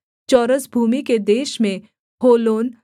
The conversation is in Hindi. चौरस भूमि के देश में होलोन यहस मेपात